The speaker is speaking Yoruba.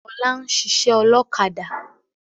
Ọlá ń ṣiṣẹ́ ọlọ́kadà